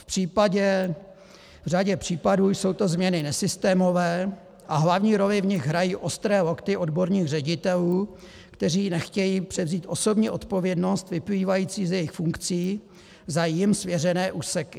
V řadě případů jsou to změny nesystémové a hlavní roli v nich hrají ostré lokty odborných ředitelů, kteří nechtějí převzít osobní odpovědnost vyplývající z jejich funkcí za jim svěřené úseky.